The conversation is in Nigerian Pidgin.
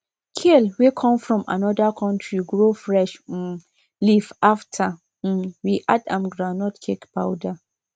kale wey come from another country grow fresh um leaf after um we add am groundnut cake powder